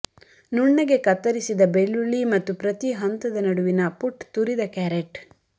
ನುಣ್ಣಗೆ ಕತ್ತರಿಸಿದ ಬೆಳ್ಳುಳ್ಳಿ ಮತ್ತು ಪ್ರತಿ ಹಂತದ ನಡುವಿನ ಪುಟ್ ತುರಿದ ಕ್ಯಾರೆಟ್